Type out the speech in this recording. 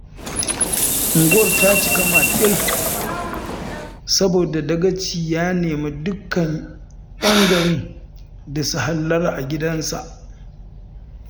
Unguwar ta cika maƙil, saboda Dagacin ya nemi dukkan 'yan garin da su hallara a gidansa